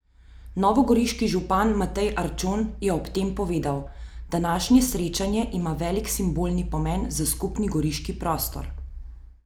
Novogoriški župan Matej Arčon je ob tem povedal: "Današnje srečanje ima velik simbolni pomen za skupni goriški prostor.